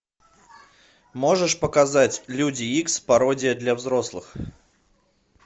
можешь показать люди икс пародия для взрослых